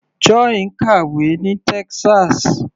Joy ń kàwé ní Texas.